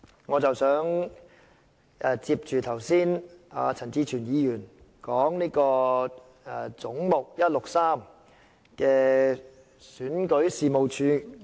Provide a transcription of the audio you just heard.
我想就陳志全議員剛才談論的"總目 163― 選舉事務處"發言。